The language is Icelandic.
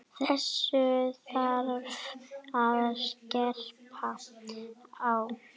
Þessu þarf að skerpa á.